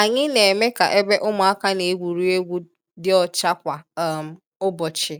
Anyị na-eme ka ebe ụmụaka na-egwuri egwu dị ọcha kwa um ụbọchị,